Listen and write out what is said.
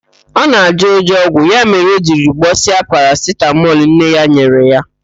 Ọ na-ajọ ụjọ ọgwụ, ya mere o jiri gbọsịa parasitamọl nne ya nyere ya.